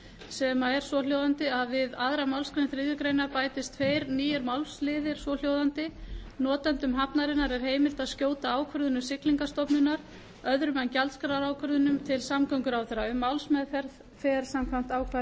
sem er svohljóðandi við aðra málsgrein þriðju grein bætist tveir nýir málsliðir svo hljóðandi notendum hafnarinnar er heimilt að skjóta ákvörðunum siglingastofnunar öðrum en gjaldskrárákvörðunum til samgönguráðherra um málsmeðferð fer samkvæmt ákvæðum